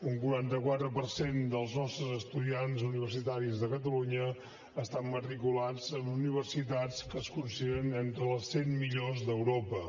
un quaranta quatre per cent dels nostres estudiants universitaris de catalunya estan matriculats en universitats que es consideren entre les cent millors d’europa